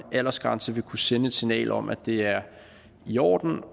aldersgrænse vil kunne sende et signal om at det er i orden